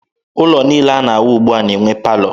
Ụlọ niile a na-ewu ugbua na-enwe palọ.